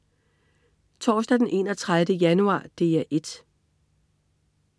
Torsdag den 31. januar - DR 1: